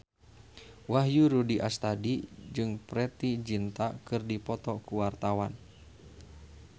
Wahyu Rudi Astadi jeung Preity Zinta keur dipoto ku wartawan